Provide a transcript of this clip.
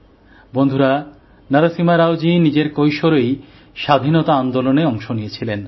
বন্ধুরা নরসিমা রাওজী নিজের কৈশোরেই স্বাধীনতা আন্দোলনে অংশ নিয়েছিলেন